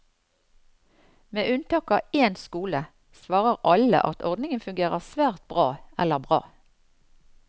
Med unntak av én skole svarer alle at ordningen fungerer svært bra eller bra.